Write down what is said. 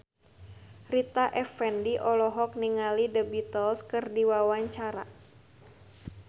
Rita Effendy olohok ningali The Beatles keur diwawancara